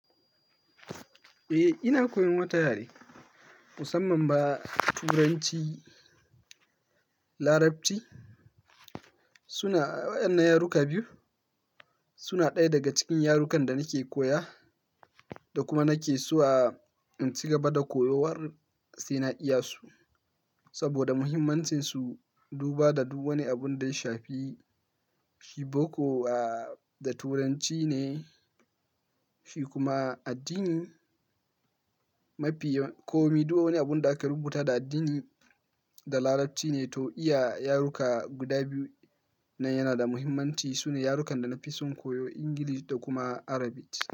Eh, ina koyan wata harshe, musamman ma Turanci, Larabci. Suna wannan yaruka biyu, suna ɗaya daga cikin yarukan da nake koya da kuma nake so a in ci gaba da koyawar sai na iyarsu saboda muhimmancinsu. Duba da duk wani abun da ya shafi boko a da Turanci ne, shi kuma addini mafiyar komi duk wani abun da aka rubuta da addini da Larabci ne. To iya yaruka guda biyu nan yana da muhimmanci. Sune yarukan da na fi son koyo, Ingilishi da kuma Arabic.